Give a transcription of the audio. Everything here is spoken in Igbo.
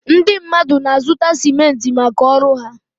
Ndị mmadụ na-azụta simentị maka ọrụ ha.